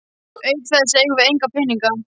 Auk þess eigum við enga peninga.